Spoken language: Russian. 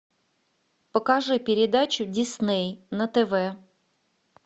покажи передачу дисней на тв